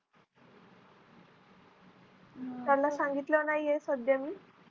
त्याला सांगितलं नाही आहे सध्या मी